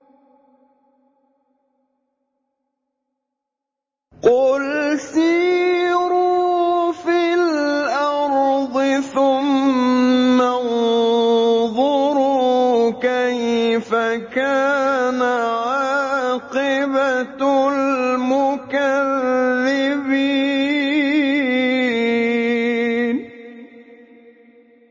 قُلْ سِيرُوا فِي الْأَرْضِ ثُمَّ انظُرُوا كَيْفَ كَانَ عَاقِبَةُ الْمُكَذِّبِينَ